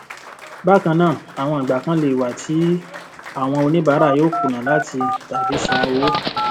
bákannáà àwọn ìgbà kan lè wà tí àwọn oníbàárà yóò kùnà láti tàbí san owó